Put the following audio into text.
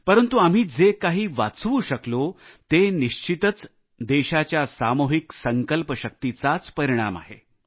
परंतु आम्ही जे काही वाचवू शकलो ते निश्चितच देशाच्या सामुहिक संकल्प शक्तीचाच परिणाम आहे